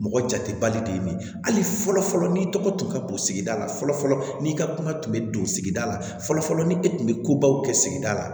Mɔgɔ jatebali de ye nin ye hali fɔlɔ fɔlɔ n'i tɔgɔ tun ka don sigida la fɔlɔ fɔlɔ n'i ka kuma tun bɛ don sigida la fɔlɔ ni e tun bɛ kobaw kɛ sigida la